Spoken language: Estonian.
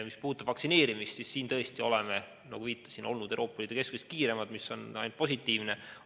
Mis puudutab vaktsineerimist, siis oleme tõesti olnud Euroopa Liidu keskmisest kiiremad ja see on ainult positiivne.